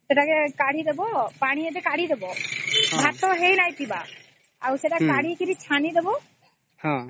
ସେଟାକେ କାଢି ଦବ ପାଣି ଆଗ କାଢି ଦବ ଭାତ ହେଇକ ହେଇ ନେଇଥିବା କେ ଆଉ ସେଟା କାଢି କିରି ଛାଣି ଦେବା